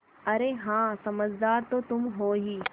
अरे हाँ समझदार तो तुम हो ही